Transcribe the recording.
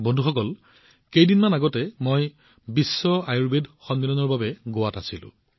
বন্ধুসকল কেইদিনমান পূৰ্বে মই বিশ্ব আয়ুৰ্বেদ কংগ্ৰেছৰ বাবে গোৱাত আছিলো